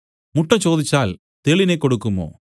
മുട്ട ചോദിച്ചാൽ തേളിനെ കൊടുക്കുമോ